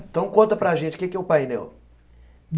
Então conta para gente o que que é um painel.